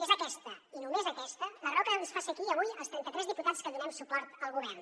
és aquesta i només aquesta la raó que ens fa ser aquí avui als trenta tres diputats que donem suport al govern